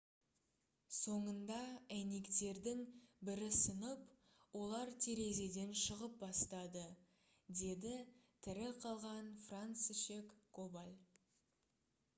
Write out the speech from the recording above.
«соңында әйнектердің бірі сынып олар терезеден шығып бастады »- деді тірі қалған францишек коваль